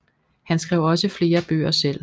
Han skrev også flere bøger selv